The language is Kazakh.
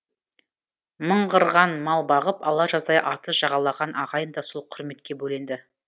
мыңғырған мал бағып ала жаздай атыз жағалаған ағайын да сол құрметке бөленді